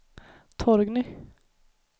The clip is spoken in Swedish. Torgny